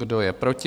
Kdo je proti?